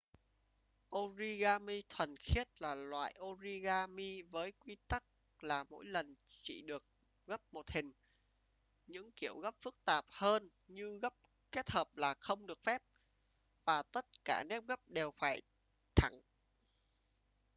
origami thuần khiết là loại origami với quy tắc là mỗi lần chỉ được gấp một hình những kiểu gấp phức tạp hơn như gấp kết hợp là không được phép và tất cả nếp gấp đều phải thẳng